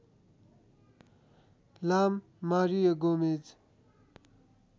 लाम Mario Gomez